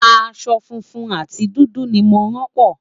aṣọ funfun àti dúdú ní mọ ràn po